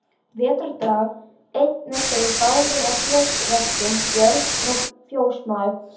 Vetrardag einn eru þeir báðir að fjósverkum, Björn og fjósamaður.